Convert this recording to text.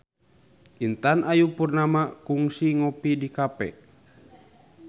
Intan Ayu Purnama kungsi ngopi di cafe